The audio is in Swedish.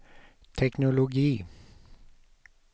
teknologi